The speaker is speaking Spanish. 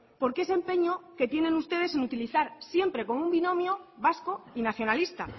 porque ese empeño que tienen ustedes en utilizar siempre como un binomio vasco y nacionalista